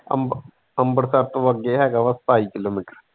ਅੰਮ ਅੰਮ੍ਰਿਤਸਰ ਤੋਂ ਅੱਗੇ ਹੈ ਗਾ ਵਾ ਸਤਾਈ ਕਿਲੋਮੀਟਰ।